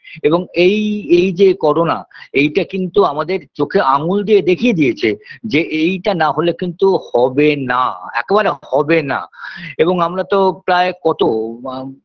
এবং এই এই যে করোনা এইটা কিন্তু আমাদের চোখে আঙুল দিয়ে দেখিয়ে দিয়েছে যে এইটা না হলে কিন্তু হবে না একেবারে হবে না এবং আমরা তো প্রায়ই কতো আ